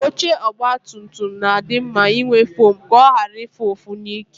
Oche ogbatumtum na-adị mma inwe fom ka ọ ghara ịfụ ụfụ n'ike.